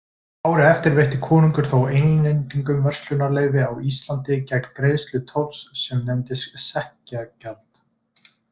Árið eftir veitti konungur þó Englendingum verslunarleyfi á Íslandi gegn greiðslu tolls sem nefndist sekkjagjald.